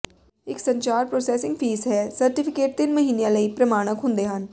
ਇੱਕ ਸੰਚਾਰ processing fee ਹੈ ਸਰਟੀਫਿਕੇਟ ਤਿੰਨ ਮਹੀਨਿਆਂ ਲਈ ਪ੍ਰਮਾਣਕ ਹੁੰਦੇ ਹਨ